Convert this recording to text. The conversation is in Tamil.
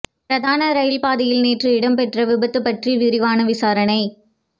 பிரதான ரயில் பாதையில் நேற்று இடம்பெற்ற விபத்து பற்றி விரிவான விசாரணை